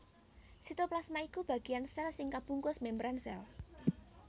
Sitoplasma iku bagéan sèl sing kabungkus membran sèl